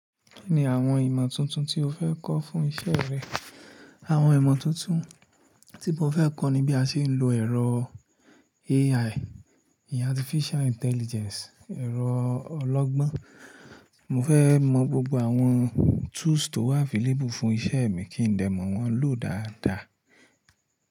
Kí ni àwọn ìmọ̀ tuntun tí o fẹ́ kọ́ fún iṣẹ́ rẹ? Àwọn ìmọ̀ tuntun tí mo fẹ́ kọ́ ni bí a ṣe ń lo ẹ̀rọ AI, Artificial Intelligence, ẹ̀rọ ọlọ́gbọ́n. Mo fẹ́ mọ gbogbo àwọn tools tó wà available fún iṣẹ́ mi kí n dè mọ wọ́n lò dáadáa.